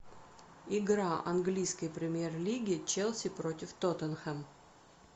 игра английской премьер лиги челси против тоттенхэм